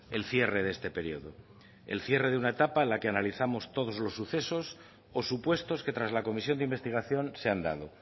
el cierre de este periodo el cierre de una etapa a la que analizamos todos los sucesos o supuestos que tras la comisión de investigación se han dado